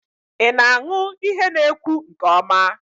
I na-aṅụ ihe na ekwu nke ọma?